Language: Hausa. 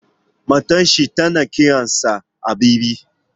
Matar shi tana kiran sa Habibi